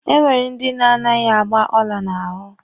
E nwere ndi na-anaghị agba ọla n'ahụ.